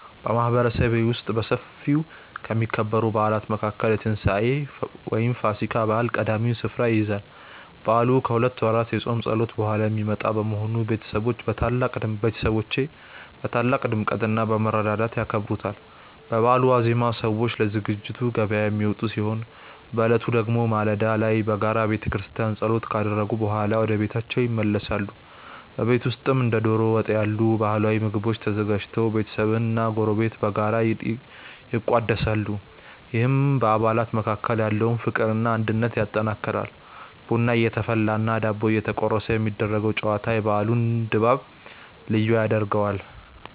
በማህበረሰቤ ውስጥ በሰፊው ከሚከበሩ በዓላት መካከል የትንሳኤ (ፋሲካ) በዓል ቀዳሚውን ስፍራ ይይዛል። በዓሉ ከሁለት ወራት የጾም ጸሎት በኋላ የሚመጣ በመሆኑ፣ ቤተሰቦች በታላቅ ድምቀትና በመረዳዳት ያከብሩታል። በበዓሉ ዋዜማ ሰዎች ለዝግጅት ገበያ የሚወጡ ሲሆን፣ በዕለቱ ደግሞ ማለዳ ላይ በጋራ በቤተክርስቲያን ጸሎት ካደረጉ በኋላ ወደየቤታቸው ይመለሳሉ። በቤት ውስጥም እንደ ዶሮ ወጥ ያሉ ባህላዊ ምግቦች ተዘጋጅተው ቤተሰብና ጎረቤት በጋራ ይቋደሳሉ፤ ይህም በአባላት መካከል ያለውን ፍቅርና አንድነት ያጠናክራል። ቡና እየተፈላና ዳቦ እየተቆረሰ የሚደረገው ጨዋታ የበዓሉን ድባብ ልዩ ያደርገዋል።